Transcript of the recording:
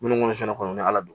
Minnu kɔni sen kɔrɔ ni ala don